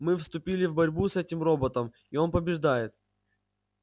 мы вступили в борьбу с этим роботом и он побеждает